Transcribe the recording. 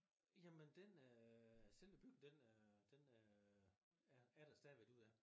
Jamen den øh selve den øh den øh er er der stadigvæk derude ja